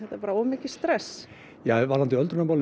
bara of mikið stress ja varðandi öldrunarmálin